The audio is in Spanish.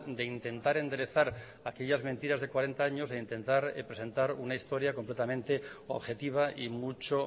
de intentar enderezar aquellas mentiras de cuarenta años de intentar presentar una historia completamente objetiva y mucho